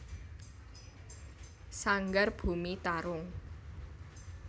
Sanggar Bumi Tarung